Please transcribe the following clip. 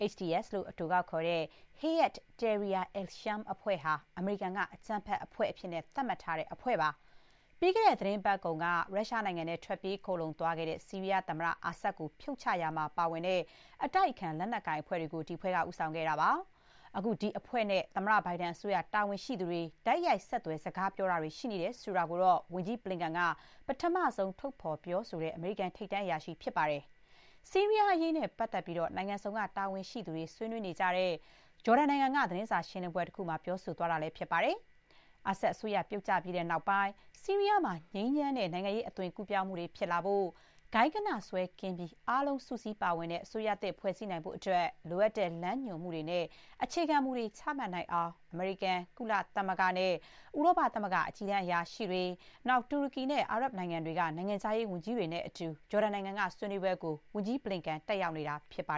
HTS လို့ အတိုကောက်ခေါ်တဲ့ Hayat Tahrir al-Sham အဖွဲ့ဟာ အမေရိကန်က အကြမ်းဖက်အဖွဲ့အဖြစ် သတ်မှတ်ထားတဲ့ အဖွဲ့ပါ။ ပြီးခဲ့တဲ့ သီတင်းပတ်ကုန်က ရုရှားနိုင်ငံထဲ ထွက်ပြေး ခိုလုံခဲ့ရတဲ့ ဆီးရီးယား သမ္မတ အာဆဒ် ကို ဖြုတ်ချရာမှာပါဝင်တဲ့ အတိုက်အခံ လက်နက်ကိုင် အဖွဲ့တွေကို ဒီအဖွဲ့က ဦးဆောင်ခဲ့တာပါ။ အခု ဒီအဖွဲ့နဲ့ သမ္မတ ဘိုင်ဒန်အစိုးရ တာဝန်ရှိသူတွေ တိုက်ရိုက် ဆက်သွယ် စကား ပြောတာတွေ ရှိနေတယ်ဆိုတာကို ဝန်ကြီး ဘလင်ကန်က ပထမဆုံး ထုတ်ဖော်ပြောဆိုတဲ့ အမေရိကန် ထိပ်တန်း အရာရှိ ဖြစ်ပါတယ်။ ဆီးရီးယားအရေးနဲ့ ပတ်သက်ပြီး နိုင်ငံစုံက တာဝန်ရှိသူတွေ ဆွေးနွေးနေကြတဲ့ ဂျော်ဒန်နိုင်ငံက သတင်းစာရှင်းလင်းပွဲ တခုမှာ ပြောသွားတာလည်း ဖြစ်ပါတယ်။ အာဆဒ်အစိုးရ ပြုတ်ကျပြီးနောက်ပိုင်း ဆီးရီးယားမှာ ငြိမ်းချမ်းတဲ့ နိုင်ငံရေး အသွင်ကူးပြောင်းမှုတွေ ဖြစ်လာဖို့၊ ဂိုဏ်းဂဏစွဲ ကင်းပြီး အားလုံ စုစည်းပါဝင်တဲ့ အစိုးရသစ် ဖွဲ့စည်းနိုင်ဖို့အတွက် လိုအပ်တဲ့ လမ်းညွှန်မှုတွေနဲ့ အခြေခံမူတွေ ချမှတ်နိုင်အောင် အမေရိကန်၊ ကုလသမဂ္ဂနဲ့ ဥရောပသမဂ္ဂ အကြီးတန်း အရာရှိတွေ၊ တူရကီနဲ့ အာရပ်နိုင်ငံတွေက နိုင်ငံခြားရေးဝန်ကြီးတွေနဲ့အတူ ဂျော်ဒန်နိုင်ငံက ဆွေးနွေးပွဲကို ဝန်ကြီးဘလင်ကန် တက်ရောက်နေတာ ဖြစ်ပါ